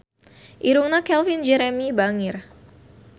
Irungna Calvin Jeremy bangir